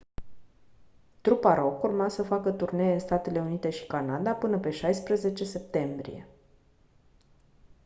trupa rock urma să facă turnee în statele unite și canada până pe 16 septembrie